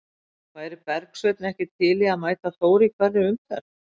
Væri Bergsveinn ekki til í að mæta Þór í hverri umferð?